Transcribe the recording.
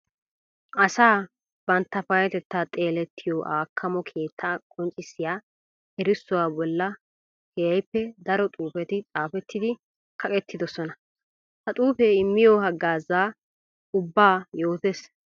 Asaa bantta payetetta xeelettiyo akamo keetta qonccissiya erissuwa bolla keehippe daro xuufetti xaafetiddi kaqqettidosonna. Ha xuufe immiyo hagaaza ubba yootes.